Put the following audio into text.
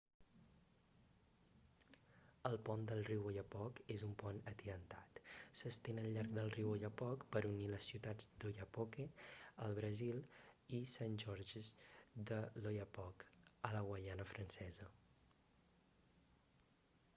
el pont del riu oyapock és un pont atirantat s'estén al llarg del riu oyapock per unir les ciutats d'oiapoque al brasil i saint-georges de l'oyapock a la guaiana francesa